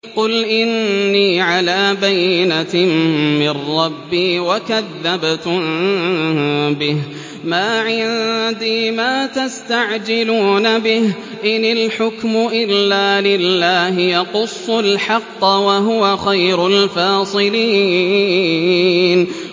قُلْ إِنِّي عَلَىٰ بَيِّنَةٍ مِّن رَّبِّي وَكَذَّبْتُم بِهِ ۚ مَا عِندِي مَا تَسْتَعْجِلُونَ بِهِ ۚ إِنِ الْحُكْمُ إِلَّا لِلَّهِ ۖ يَقُصُّ الْحَقَّ ۖ وَهُوَ خَيْرُ الْفَاصِلِينَ